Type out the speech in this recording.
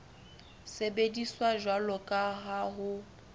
sebediswa jwalo ka ha ho